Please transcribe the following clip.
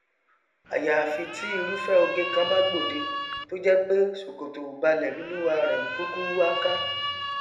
àyàfi tí irúfẹ oge kan bá gbòde tójẹpé ṣòkòtòòbalẹ lolúwarẹ n kúkú wá ká